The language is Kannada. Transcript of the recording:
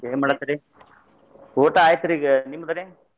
ಏನ್ ಮಾಡತ್ರಿ ಊಟ ಆಯ್ತರಿ ಈಗ ನಿಮ್ದ್ರಿ?